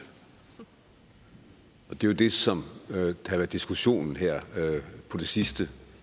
det er jo det som har været diskussionen her på det sidste